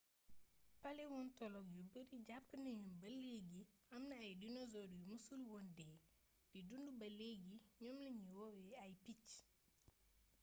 paléontologue yu bari jàpp nañu ni ba leegi amna ay dinosaure yu mësul woon dee di dund baa leegi ñoom lañu woowe ay picc